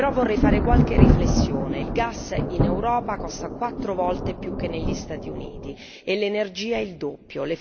Però vorrei fare qualche riflessione il gas in Europa costa quattro volte di più che negli Stati Uniti e l'energia il doppio